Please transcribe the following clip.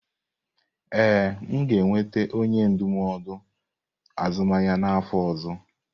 Ee, m ga-enweta onye ndụmọdụ azụmahịa n'afọ ọzọ.